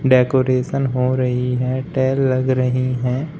Decoration हो रही है टाइल लगा रही है।